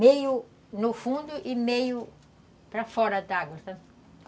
Meio no fundo e meio para fora d'água, sabe?